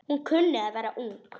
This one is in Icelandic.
Hún kunni að vera ung.